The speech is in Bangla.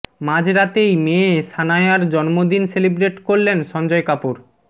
মাঝ রাতেই মেয়ে শানায়ার জন্মদিন সেলিব্রেট করলেন সঞ্জয় কাপুর